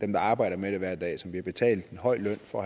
der arbejdede med det hver dag og som blev betalt en høj løn for